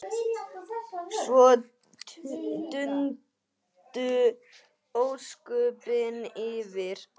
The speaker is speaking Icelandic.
Svo dundu ósköpin yfir.